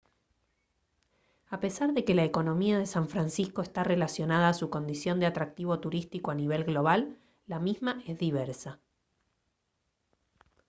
a pesar de que la economía de san francisco está relacionada a su condición de atractivo turístico a nivel global la misma es diversa